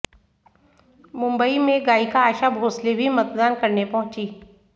मुंबई में गायिका आशा भोसले भी मतदान करने पहुंचीं